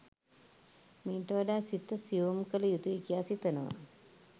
මීට වඩා සිත සියුම් කළ යුතුයි කියා සිතනවා.